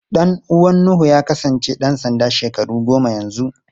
Ɗan uwan Nuhu ya kasance ɗan sanda shekaru goma yanzu.